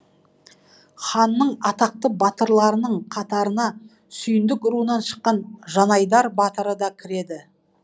ханның атақты батырларының қатарына сүйіндік руынан шыққан жанайдар батыр да кіреді